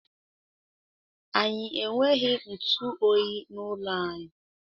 Anyị enweghị ntụ oyi n'ụlọ anyị.